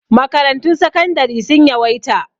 Makarantun sakandari sun yawaita